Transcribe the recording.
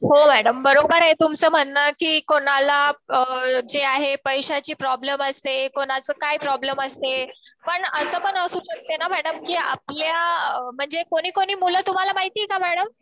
हो मॅडम. बरोबर आहे तुमचं म्हणणं कि कुणाला जे आहे पैशाची प्रॉब्लेम असते. कुणाचं काय प्रॉब्लेम असते. पण असं पण असू शकते ना मॅडम कि आपल्या म्हणजे कोणीकोणी मुलं तुम्हाला माहितीये का मॅडम